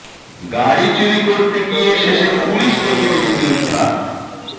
গাড়ি চুরি করতে গিয়ে শেষে পুলিশ ডেকে নিজেকে উদ্ধার